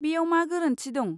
बेयाव मा गोरोन्थि दं?